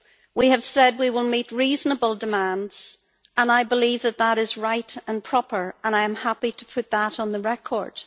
We have said we will meet reasonable demands and I believe that that is right and proper, and I am happy to put that on the record.